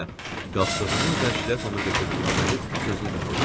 qalxdığımı və şləpamı götürdüyümü görüb sözünü bitirdi.